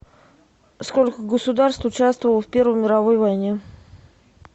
сколько государств участвовало в первой мировой войне